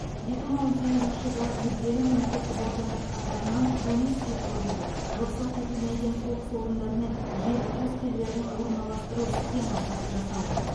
екі мың он сегізінші жылы мүдделі мемлекеттік органдар қатарынан комиссия құрылды рұқсат етілмеген қоқыс орындары мен жер учаскелерін орналастыру схемасы жасалды